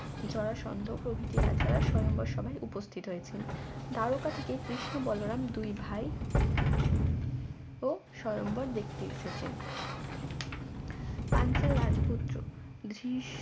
জরাসন্ধ প্রভৃতি রাজারা স্বয়ম্বর সভায় উপস্থিত হয়েছেন দ্বারকা থেকে কৃষ্ণ বলরাম দুই ভাই ও স্বয়ম্বর দেখতে এসেছেন পাঞ্চাল রাজপুত্র দৃশ